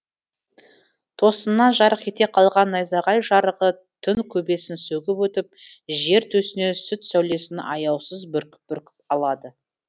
тосыннан жарқ ете қалған найзағай жарығы түн көбесін сөгіп өтіп жер төсіне сүт сәулесін аяусыз бүркіп бүркіп алады